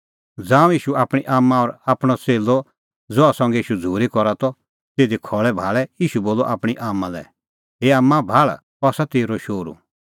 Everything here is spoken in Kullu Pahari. ज़ांऊं ईशू आपणीं आम्मां और आपणअ च़ेल्लअ ज़हा संघै ईशू झ़ूरी करा त तिधी खल़ै भाल़ै ईशू बोलअ आपणीं आम्मां लै हे आम्मां भाल़ अह आसा तेरअ शोहरू